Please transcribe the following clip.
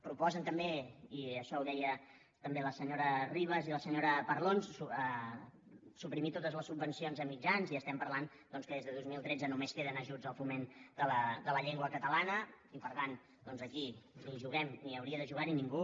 proposen també i això ho deien també la senyora ribas i la senyora parlon suprimir totes les subvencions a mitjans i estem parlant doncs que des de dos mil tretze només queden ajuts al foment de la llengua catalana i per tant doncs aquí ni juguem ni hi hauria de jugar ningú